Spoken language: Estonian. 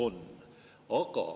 Aitäh küsimuse eest!